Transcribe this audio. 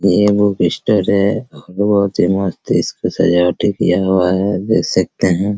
ये एगो बिस्तर है और बहुत ही मस्त इसपे सजावटी किया हुआ है देख सकते है ।